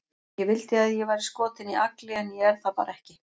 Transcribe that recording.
Ég vildi að ég væri skotin í Agli, en ég er það bara ekki.